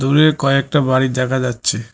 দূরে কয়েকটা বাড়ি দেখা যাচ্চে।